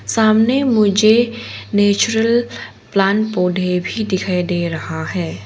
सामने मुझे natural plant पौधे भी दिखाई दे रहा है।